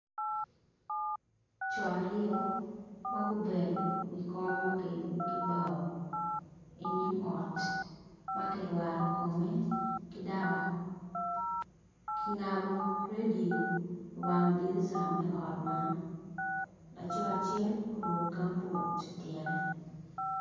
Coo aryo magubedo i kom makiyubo ki bao inyim ot makirwato kome ki daba kingabo radio i wang dirisa me ot man laco acel oruko gambut ityene.